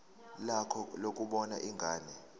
lakho lokubona ingane